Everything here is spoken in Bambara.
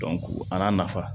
a n'a nafa